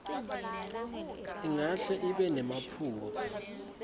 ingahle ibe nemaphutsa